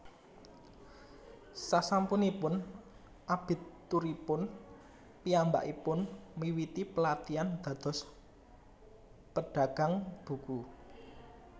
Sasampunipun abituripun piyambakipun miwiti pelatihan dados pedagang buku